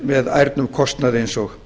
með ærnum kostnaði eins og